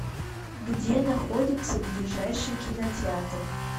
где находится ближайший кинотеатр